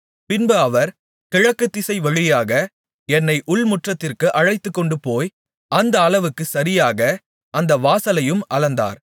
பின்பு அவர் கிழக்குத்திசை வழியாக என்னை உள்முற்றத்திற்கு அழைத்துக்கொண்டுபோய் அந்த அளவுக்குச் சரியாக அந்த வாசலையும் அளந்தார்